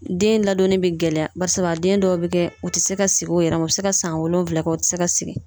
Den ladonni bɛ gɛlɛya barisabu a den dɔw be kɛ u ti se ka sigi u yɛrɛ ma. U be se ka san wolonwula kɛ u ti se ka sigi.